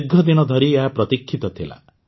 ଦୀର୍ଘ ଦିନ ଧରି ଏହା ପ୍ରତୀକ୍ଷିତ ଥିଲା